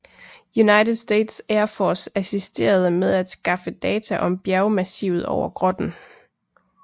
United States Air Force assisterede med at skaffe data om bjergmassivet over grotten